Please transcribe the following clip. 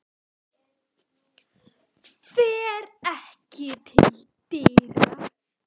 Fer ekki til dyra.